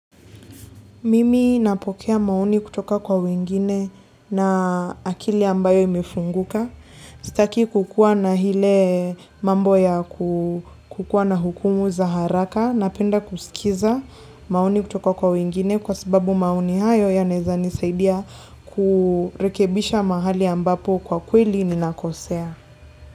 Mimi napokea maoni kutoka kwa wengine na akili ambayo imefunguka. Sitaki kukua na ile mambo ya kukua na hukumu za haraka, napenda kusikiza maoni kutoka kwa wengine kwa sababu maoni hayo yanaeza nisaidia kurekebisha mahali ambapo kwa kweli ni nakosea.